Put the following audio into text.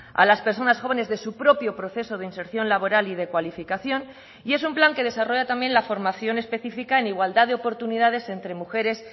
a las personas jóvenes de su propio proceso de inserción laboral y de cualificación y es un plan que desarrolla también la formación específica en igualdad de oportunidades entre mujeres